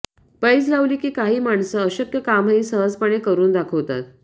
पैज लावली की काही माणसं अशक्य कामंही सहजपणे करून दाखवतात